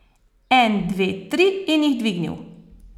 En, dve, tri in jih dvignil.